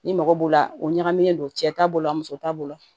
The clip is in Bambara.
Ni mɔgɔ b'o la o ɲagamilen don cɛ t'a bolo muso t'a bolo